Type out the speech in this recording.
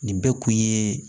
Nin bɛɛ kun ye